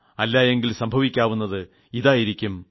അല്ല എങ്കിൽ സംഭവിച്ചേയ്ക്കാവുന്നത് ഇതായിരിക്കും